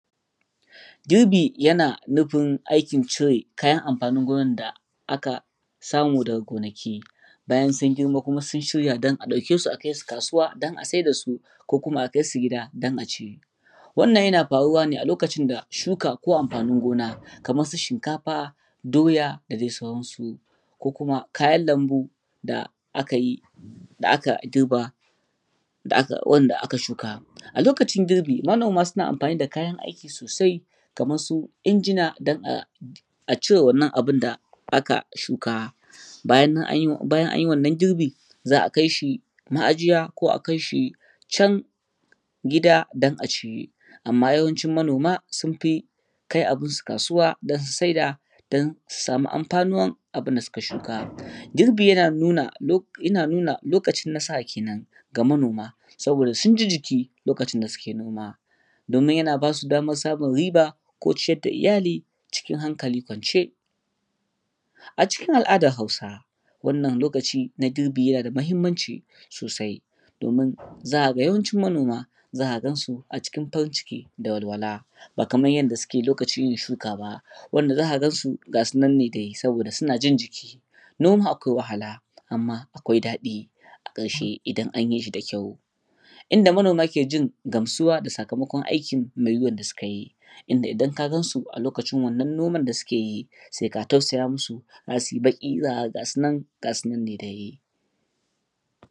Girbi yana nufin aikin cire kayan amfanin gona aka samu daga gonaki bayan sun girma sun yi don a ɗauke su a kai su kasuwa don aa sayar da su ko kuma a kai su gida don a ci. Wannan yana faruwa ne a loakcin da shuka ko amfanin gona kamar su shinkafa doya da sauransu ko.kuma kayan lambu da aka girbin wanda aka shuka. A lokacin girbi manoma suna amfani da kayanaiki sosai kamar su injina a cire wannan abun da aka shuka, bayan an yi wannan girbi za a kai shi maajiya ko a kai shi can gida don a ci. Amma yawanci manoma sun fi kai abunsu kasuwa don su sayar su dama amfanuwa da abun da suka shuka. Girbi yana nuna likacin narasa a kenan saboda sun ji jiki lokacin da suke nomawa domin yana ba su damar samun riba ko ciyar da iyali cikin hankali kwance. A cikin al'adar Hausawa wannan yana da mahimmanci sosai, domin za ka ga yawanci manoma za ka gansu a cikin farun ciki da walwala ba kamar yadda suke a lokacin yinshuka ba wanda za ka gansu ga su nan ne dai. Saboda suna jin jiki noma akwai wahala amma akwai daɗi musamman idan an yi da ƙyau, inda manoma ke gamsuwa da da sakamakon aiki mai wuya da suka yi, inda idan ka gansu a lokacin wannan noman da suke yi sai ka tausaya musu za su yi baki za ka ga gasu nan ne dai.